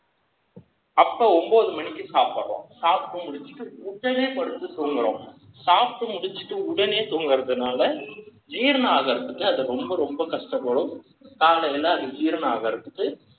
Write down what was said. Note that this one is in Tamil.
அப்போ ஒன்பது மணிக்கு சாப்பிடுறோம் சாப்பிட்டு முடிச்சிட்டு உடனே படுத்துட்டு தூங்குறோம் முடிச்ச உடனே தூங்குறதுனால ஜீரணம் ஆகிறது அது ரொம்ப ரொம்ப கஷ்டப்படும் அது ஜீரணமாவதற்கு